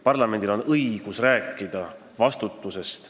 Parlamendil on õigus rääkida vastutusest.